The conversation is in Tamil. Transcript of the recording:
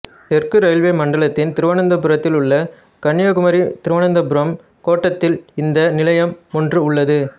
தெற்கு ரெயில்வே மண்டலத்தின் திருவனந்தபுரத்தில் உள்ள கன்னியாகுமரிதிருவனந்தபுரம் கோட்டத்தில் இந்த நிலையம் ஒன்று உள்ளது